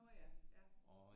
Nå ja ja